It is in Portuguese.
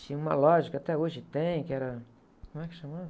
Tinha uma loja que até hoje tem, que era... Como é que chamava?